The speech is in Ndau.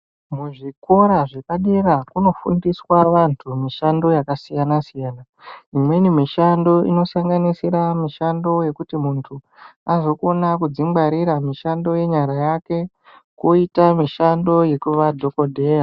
Kuzvikora zvepadera kunofundiswa vantu mishando yakasiyana siyana imweni mishando imweni mishando inosanganisira kuti muntu asokona kudzingwarira mishando yenyara dzake kozoita imwe mishando yekuva dhokodheya.